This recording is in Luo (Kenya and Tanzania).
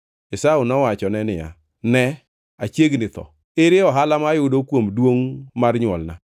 Esau nowachone niya, “Ne achiegni tho. Ere ohala ma ayudo kuom duongʼ mar nywolna?”